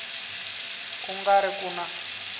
ku nga ri ku na